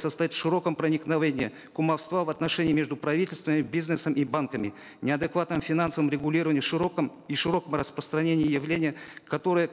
состоит в широком проникновении кумовства в отношения между правительством и бизнесом и банками неадекватном финансовом регулировании и широком распространении явления которое